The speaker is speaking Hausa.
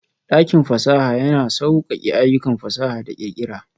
Dakin fasaha yana sauƙaƙe ayyukan fasaha da ƙirƙira.